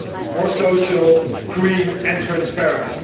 more social, green and transparent.